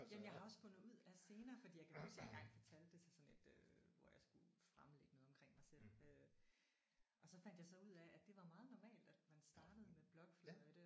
Jamen jeg har også fundet ud af senere fordi jeg kan huske jeg har engang fortalt det til sådan et øh hvor jeg skulle fremlægge noget omkring mig selv øh og så fandt jeg så ud af at det var meget normalt at man startede med blokfløjte